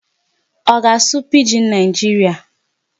Ọ ga-asụ Pidgin Nigeria.